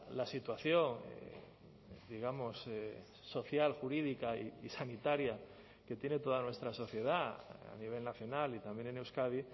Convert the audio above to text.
la situación digamos social jurídica y sanitaria que tiene toda nuestra sociedad a nivel nacional y también en euskadi